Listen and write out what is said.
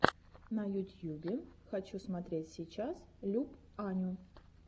на ютьюбе хочу смотреть сейчас люб аню